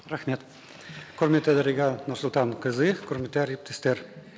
рахмет құрметті дариға нұрсұлтанқызы құрметті әріптестер